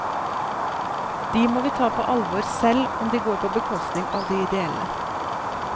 De må vi ta på alvor selv om de går på bekostning av det ideelle.